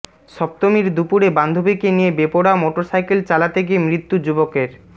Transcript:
সপ্তমীর দুপুরে বান্ধবীকে নিয়ে বেপরোয়া মোটরসাইকেল চালাতে গিয়ে মৃত্যু যুবকের